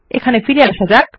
এখানে ব্যাক করা যাক